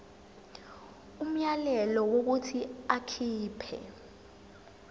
umyalelo wokuthi akhipha